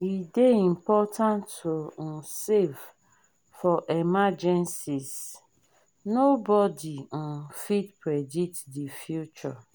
e dey important to um save for emergencies nobodi um fit predict the future.